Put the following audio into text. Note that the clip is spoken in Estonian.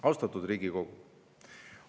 Austatud Riigikogu!